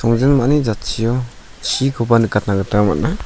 songjinmani jatchio chikoba nikatna gita man·a.